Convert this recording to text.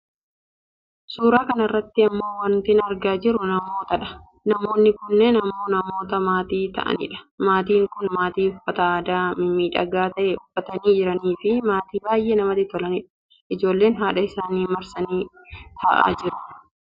Suuraa kanarratti ammoo wantin argaa jiru namootadha, namoonni kunneen ammoo namoota maatii ta'anidha. Maatiin kun maatii uffata aadaa mimiidhagaa ta'e uffatanii jiraniifi maatii baayyee namatti tolanidha. Ijoolleen haadha isaaniitti marsanii taa'aa jiru.